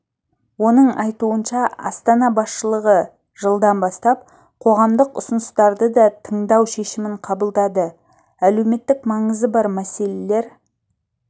оның айтуынша астана басшылығы жылдан бастап қоғамдық ұсыныстарды да тыңдау шешімін қабылдады әлеуметтік маңызы бар мәселелер